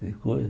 Tem coisa...